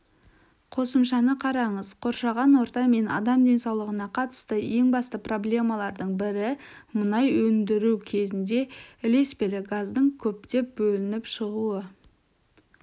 қосымшаны қараңыз қоршаған орта мен адам денсаулығына қатысты ең басты проблемалардың бірі мұнай өндіру кезінде ілеспелі газдың көптеп бөлініп шығуы